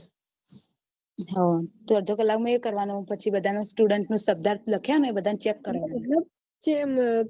તો અડધો કલાક માં એ કરવાનું પછી બધા student નુ શબ્દાર્થ લખ્યા ને check કરવાનું